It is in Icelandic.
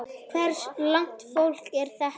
Hvers lags fólk er þetta?